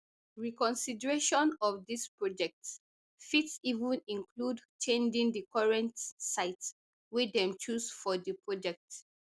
reconsideration of dis project fit even include changing di current site wey dem choose for di project